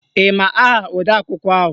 Ị ma aha odeakwụkwọ ahụ?